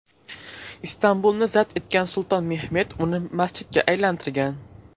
Istanbulni zabt etgan sulton Mehmet uni masjidga aylantirgan.